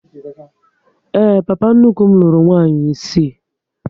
Ee, papa nnukwu m lụrụ nwaanyị isii